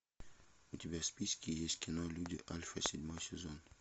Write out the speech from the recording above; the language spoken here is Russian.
у тебя в списке есть кино люди альфа седьмой сезон